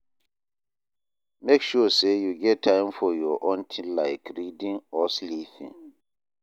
Make sure sey you get time for your own tin like reading or sleeping.